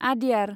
आद्यार